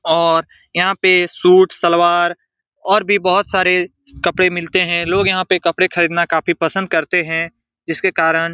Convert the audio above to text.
और यहाँ पे सूट सलवार और भी बहुत सारे कपड़े मिलते हैं लोग यहाँ पे कपड़े खरीदना काफी पसंद करते हैं जिसके कारन --